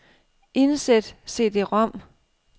Indsæt cd-rom.